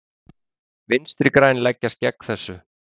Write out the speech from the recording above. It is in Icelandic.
Vinstri græn leggjast gegn þessu.